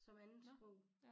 Som andetsprog